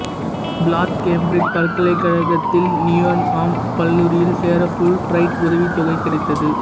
Plath Cambridge பல்கலைக்கழகத்தில் Newnham கல்லூரியில் சேர ஃபுல் பிரைட் உதவித்தொகை கிடைத்தது